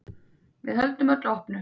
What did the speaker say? Við höldum öllu opnu.